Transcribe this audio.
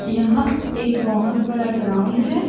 यह एक बहोत बड़ा ग्राउंड है।